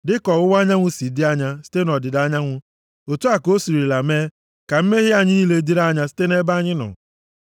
Dịka ọwụwa anyanwụ si dị anya, site nʼọdịda anyanwụ, otu a ka o sirila mee ka mmehie anyị niile dịrị anya site nʼebe anyị nọ.